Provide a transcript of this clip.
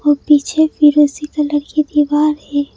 और पीछे बिरोसी कलर की दीवार है।